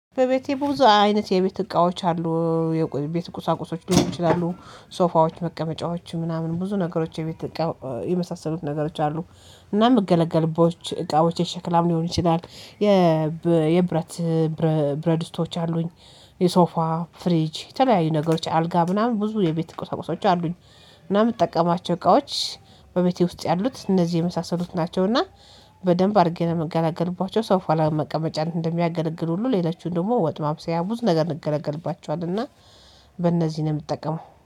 በቤቴ ብዙ አይነት የቤት እቃዎች አሉ የቤት ቁሳቁሶች ሊሆኑ ይችላሉ ሶፋዎች መቀመጫዎች ምናምን ብዙ ነገሮች የቤት የመሳሰሉት ነገሮች አሉ። እና ምገለገል ቦች እቃዎች የሸክላም ሊሆን ይችላል። የብረት ብረድስቶች አሉኝ። የሶፋ ፍሪጅ የተለያዩ ነገሮች አልጋ ምናምን ብዙ የቤት ቁሳቁሶች አሉኝ። እና የምጠቀማቸው እቃዎች በቤቴ ውስጥ ያሉት እነዚህ የመሳሰሉት ናቸው ናቸውና በደንብ አድርጌ ምገላገልባቸው ሶፋ ለመቀመጫ እንደሚያገለግል ሁሉ ሌሎቹን ደግሞ ወጥ ማብሰያ ብዙ ነገር እንገለገልባቸዋለን። እና በእነዚህ ነው የምትጠቀመው